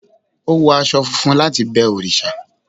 o wo aṣọ funfun latí bẹ òrìṣà